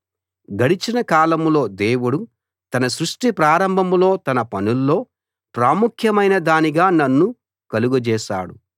గడిచిన కాలంలో దేవుడు తన సృష్టి ప్రారంభంలో తన పనుల్లో ప్రాముఖమైన దానిగా నన్ను కలుగజేశాడు